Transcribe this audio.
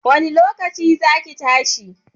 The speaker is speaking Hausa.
Wanne lokaci za ki tashi?